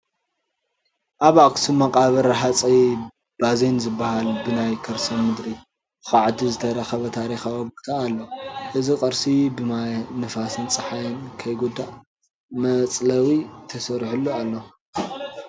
ኣብ ኣኽሱም መቃብር ሃፀይ ባዜን ዝበሃል ብናይ ከርሰ ምድሪ ዃዕቲ ዝተረኸበ ታሪካዊ ቦታ ኣሎ፡፡ እዚ ቅርሲ ብማይ፣ ንፋስን ፀሃይን ከይጉዳእ መፅለዊ ተሰሪሑሉ እዩ፡፡